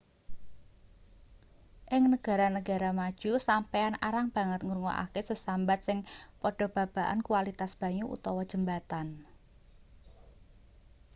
ing negara-negara maju sampeyan arang banget ngrungokake sesambat sing padha babagan kwalitas banyu utawa jembatan